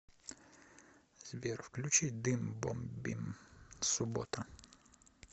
сбер включи дым бомбим суббота